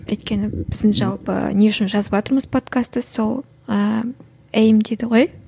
өйткені біздің жалпы не үшін жазыватырмыз подкасты сол ыыы эйм дейді ғой